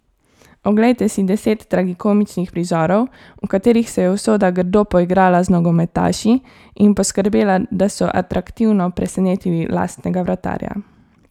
Oglejte si deset tragikomičnih prizorov, v katerih se je usoda grdo poigrala z nogometaši in poskrbela, da so atraktivno presenetili lastnega vratarja.